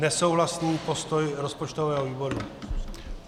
Nesouhlasný postoj rozpočtového výboru.